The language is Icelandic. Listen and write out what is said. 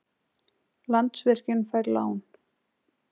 Landsvirkjun fær lán